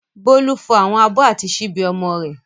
Bólú fọ àwọn abọ́ àti ṣíbí ọmọ rẹ̀.